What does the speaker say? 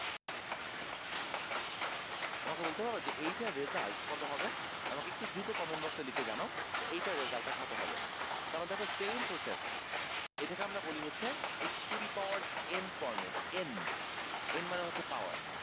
আমাকে বলতে পারবা যে এইটার result কত হবে আমাকে একটু দ্রুত comment box এ লিখে জানাও যে এইটার result টা কত হবে কারণ দেখো same process এটাকে আমরা বলি হচ্ছে x to the power n format n n মানে হচ্ছে power